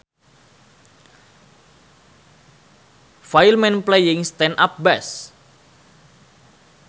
File Man Playing Stand Up Bass